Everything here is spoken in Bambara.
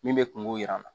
Min bɛ kungo yira an na